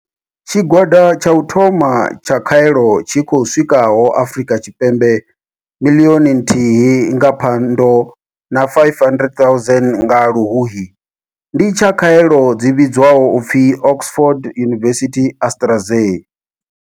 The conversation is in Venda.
Tshigwada tsha u thoma tsha khaelo tshi khou swikaho Afrika Tshipembe miḽioni nthihi nga Phando na 500 000 nga Luhuhi ndi tsha khaelo dzi vhidzwaho u pfi Oxford University-AstraZ.